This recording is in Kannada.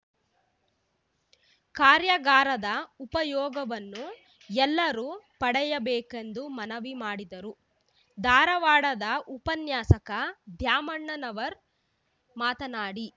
ಕಾರ್ಯಾಗಾರದ ಉಪಯೋಗವನ್ನು ಎಲ್ಲರೂ ಪಡೆಯಬೇಕೆಂದು ಮನವಿ ಮಾಡಿದರು ಧಾರವಾಡದ ಉಪನ್ಯಾಸಕ ದ್ಯಾಮಣ್ಣನವರ್‌ ಮಾತನಾಡಿ